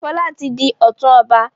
Fola tí dì òtún ọba.